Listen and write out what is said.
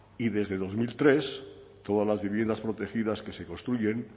y desde dos mil tres todas las viviendas protegidas que se construyen